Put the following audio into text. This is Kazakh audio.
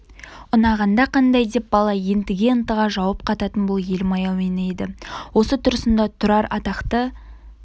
ұнағанда қандай деп бала ентіге ынтыға жауап қататын бұл елім-ай әуені еді осы тұрысында тұрар атақты